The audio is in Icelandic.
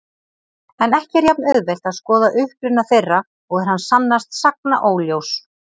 En ekki er jafn-auðvelt að skoða uppruna þeirra og er hann sannast sagna óljós.